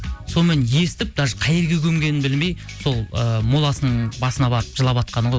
сонымен естіп даже қай жерге көмгенін білмей сол ы моласының басына барып жылаватқаны ғой